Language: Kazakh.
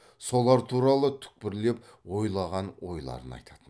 солар туралы түкпірлеп ойлаған ойларын айтатын